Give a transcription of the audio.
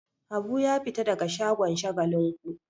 Habu ya fita daga shagon Shagalinku.